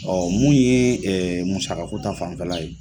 Ɔ mun ye musaka ko ta fanfɛla ye.